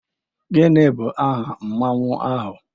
Gịnị bụ aha Mmanwu ahụ?